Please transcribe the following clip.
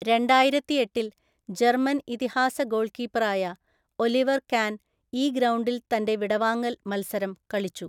രണ്ടായിരത്തിഎട്ടില്‍ German ഇതിഹാസ ഗോൾകീപ്പറായ Oliver Kahn ഈ ഗ്രൗണ്ടിൽ തന്റെ വിടവാങ്ങൽ മത്സരം കളിച്ചു.